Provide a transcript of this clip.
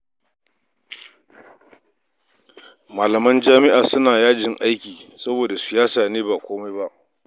Malaman jami'a suna yajin aiki saboda siyasa ne ba komai ba